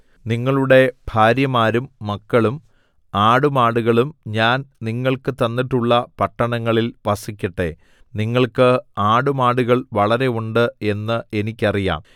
നിങ്ങളുടെ ഭാര്യമാരും മക്കളും ആടുമാടുകളും ഞാൻ നിങ്ങൾക്ക് തന്നിട്ടുള്ള പട്ടണങ്ങളിൽ വസിക്കട്ടെ നിങ്ങൾക്ക് ആടുമാടുകൾ വളരെ ഉണ്ട് എന്ന് എനിക്ക് അറിയാം